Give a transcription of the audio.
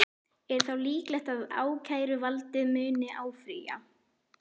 Er þá líklegt að ákæruvaldið muni áfrýja?